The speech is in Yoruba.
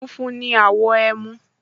Funfun ni àwọ̀ ẹmu